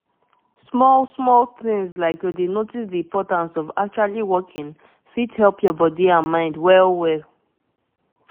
true true as i learn i learn more about this waka matter e help me change how i dey live every day.